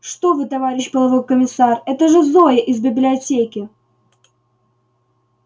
что вы товарищ полковой комиссар это же зоя из библиотеки